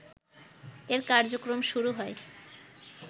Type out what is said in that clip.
এর কার্যক্রম শুরু হয়